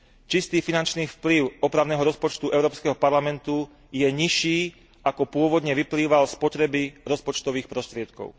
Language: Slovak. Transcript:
Čistý finančný vplyv opravného rozpočtu Európskeho parlamentu je nižší, ako pôvodne vyplýval z potreby rozpočtových prostriedkov.